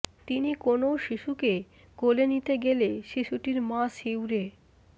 তিনি কোনও শিশুকে কোলে নিতে গেলে শিশুটির মা শিউরে